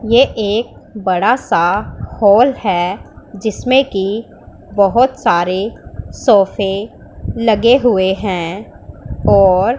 यह एक बड़ा सा हॉल है जिसमें कि बहुत सारे सोफे लगे हुए हैं और--